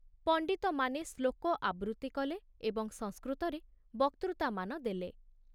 ପଣ୍ଡିତମାନେ ଶ୍ଳୋକ ଆବୃତ୍ତି କଲେ ଏବଂ ସଂସ୍କୃତରେ ବକ୍ତୃତାମାନ ଦେଲେ।